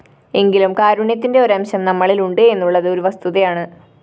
എങ്കിലും കാരുണ്യത്തിന്റെ ഒരംശം നമ്മളില്‍ ഉണ്ട് എന്നുള്ളത് ഒരു വസ്തുതയാണ്